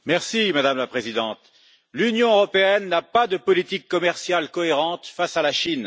Madame la Présidente, l'Union européenne n'a pas de politique commerciale cohérente face à la Chine.